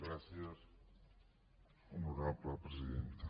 gràcies honorable presidenta